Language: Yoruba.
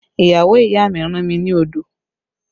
Ìyàwó ìyá mi rán mi ni odò